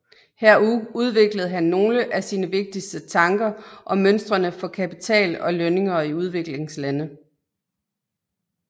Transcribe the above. Her udviklede han nogle af sine vigtigste tanker om mønstrene for kapital og lønninger i udviklingslande